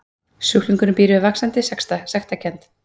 Sjúklingurinn býr við vaxandi sektarkennd.